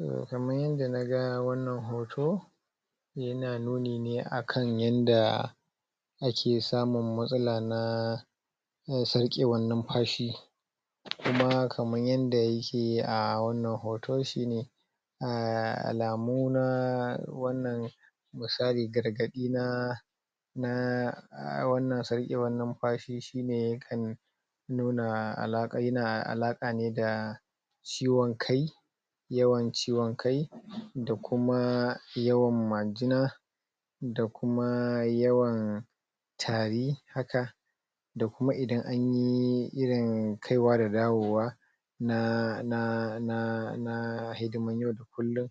um Kaman yanda naga wannan hoto yana nuni ne akan yanda ake samun matsala na uhm sarƙewan numfashi, kuma kaman yanda yake a wannan hoto shi ne [haa] alamu na wannan misali gargaɗi na na [haa] wannan sarƙewan numfashi shi ne ya kan nuna alaƙa yana alaƙa ne da ciwon kai yawan ciwon kai da kuma yawan majina da kuma yawan tari haka, da kuma idan anyi irin kai wa da dawowa na na na na hidiman yau da kullun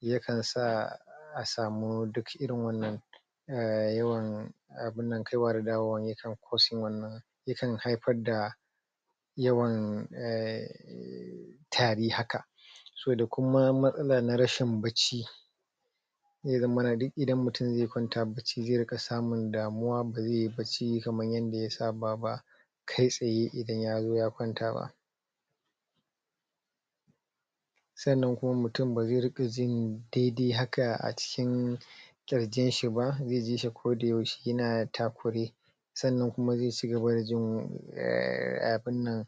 yakan sa a samu duk irin wannan um yawan abunan kai wa da dawowa yakan causing wannan ya kan haifar da yawan um tari haka, so da kuma matsala na rashin bacci zai za mana duk idan mutum zai kwanta bacci zai ringa samun damuwa ba zai yi bacci kaman yanda ya saba ba kai tsaye idan ya zo ya kwanta ba. Sannan kuma mutum ba zai ringa jin daidai haka a cikin kirgin shi ba zai ji shi koda yaushe yana takure sannan kuma zai cigaba da jin um abunnan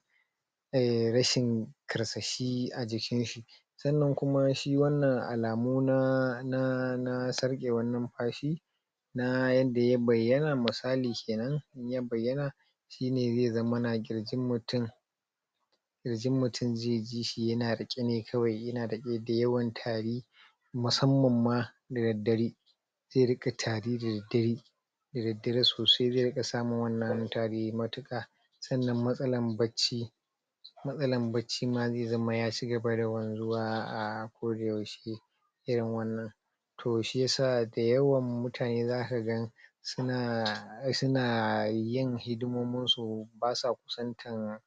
um rashin karsashi a jikin shi sannan kuma shi wannan alamu na na na sarƙewan numfashi na yanda ya bayyana misali kenan in ya bayyana shine zai za mana ƙirjin mutun ƙirjin mutum zai jishi yana riƙe ne kawai, yana da yawan tari musamman ma da daddare zai ringa tari da daddare da daddare sosai zai ringa samun wannan tari matuka sannan matsalan bacci matsalan bacci ma zai zama ya cigaba da ko da yaushe irin wannan toh shiyasa da yawan mutane zaka gan suna suna yin hidimomin su basu kusantan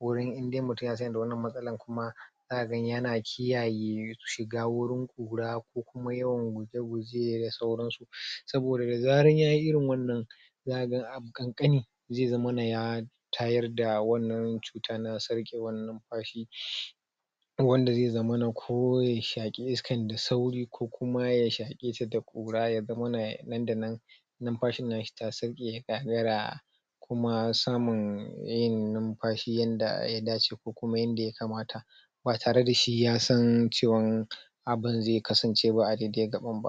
wurin indai mutum yasan da wannan matsalan kuma kaga yana kiyaye shiga wurin kura ko kuma yawan gujeguje da sauran su saboda da zaran yayi irin wannan za ka ga abu kankani zai zammana ya tayar da wannan cutan na sarkewan numfashi wanda zai zammana ko ya shake iskan da sauri ko kuma ya shake sa da kura ya zamana nan da nan numfashin nashi ta sauke kuma samun yin numfashi yanda ya dace ko kuma yanda yakamta ba tare da shi ya san cewan abun zai kasance ba a dai dai gaban ba